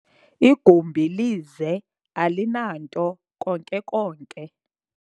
igumbi lize, alinanto konke konke